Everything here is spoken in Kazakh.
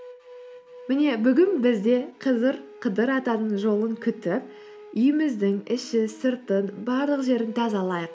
міне бүгін біз де қыдыр атаның жолын күтіп үйіміздің іші сыртын барлық жерін тазалайық